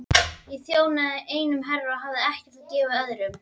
Ég þjónaði einum herra og hafði ekkert að gefa öðrum.